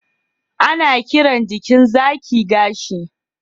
ana kiran jikin zaki gashi